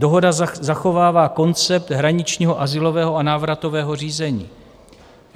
Dohoda zachovává koncept hraničního, azylového a návratového řízení.